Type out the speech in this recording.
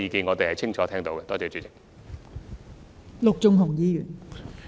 我們清楚聽到謝議員的意見。